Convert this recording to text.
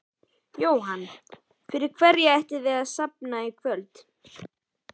Jóhann: Fyrir hverja ætlið þið að safna í kvöld?